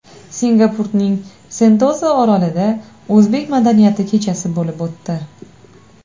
Singapurning Sentoza orolida o‘zbek madaniyati kechasi bo‘lib o‘tdi.